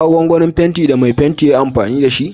Ka ga gwangwanin fenti da mai fenti ya Yi amfani da jiya?